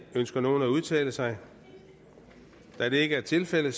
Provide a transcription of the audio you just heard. ønsker nogen at udtale sig da det ikke er tilfældet